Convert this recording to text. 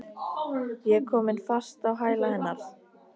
Ég er komin fast á hæla hennar.